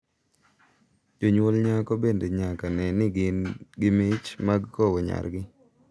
Jonyuol nyako bende nyaka ne ni gin gi mich mag kowo nyargi.